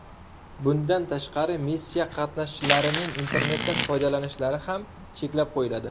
Bundan tashqari, missiya qatnashchilarining internetdan foydalanishlari ham cheklab qo‘yiladi.